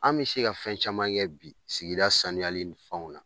An bɛ se ka fɛn caman kɛ bi sigida sanuyali ni fɛnw na